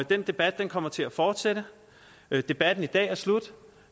den debat kommer til at fortsætte debatten i dag er slut